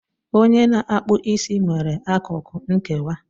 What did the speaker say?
Onye na-akpụ isi nwere akụkụ nkewa